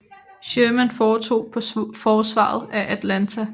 Sherman foretog på forsvaret af Atlanta